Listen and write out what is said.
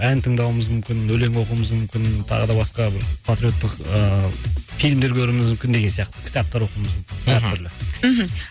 ән тыңдауымыз мүмкін өлең оқуымыз мүмкін тағы да басқа бір патриоттық ыыы фильмдер көруіміз мүмкін деген сияқты кітаптар оқуымыз мүмкін мхм әртүрлі мхм